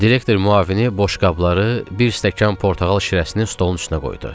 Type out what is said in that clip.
Direktor müavini boş qabları, bir stəkan portağal şirəsini stolun üstünə qoydu.